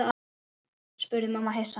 spurði mamma hissa.